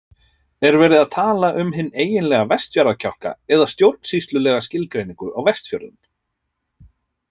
Er verið að tala um hinn eiginlega Vestfjarðakjálka eða stjórnsýslulega skilgreiningu á Vestfjörðum?